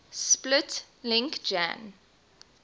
split link jan